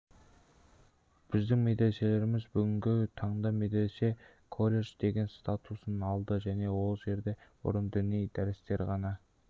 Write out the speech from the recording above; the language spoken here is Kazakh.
біздің медреселеріміз бүгінгі таңда медресе колледж деген статусын алды ол жерде бұрын діни дәрістер ғана